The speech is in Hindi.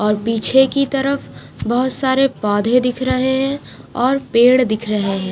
और पीछे की तरफ बहुत सारे पौधे दिख रहे है और पेड़ दिख रहे है।